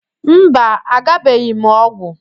Mba, agbabeghị m ọgwụ